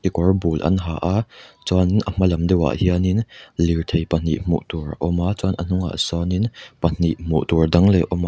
kekawr bul an ha a chuan a hmalam deuh a hian in lirthei pahnih hmuh tur a awm a chuan a hnung ah sawn in pahnih hmu tur dang leh a awm a--